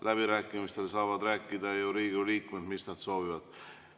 Läbirääkimistel saavad Riigikogu liikmed rääkida, mida nad soovivad.